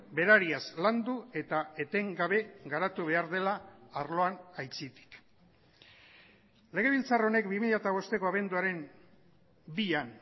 berariaz landu eta etengabe garatu behar dela arloan aitzitik legebiltzar honek bi mila bosteko abenduaren bian